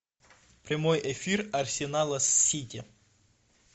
прямой эфир арсенала с сити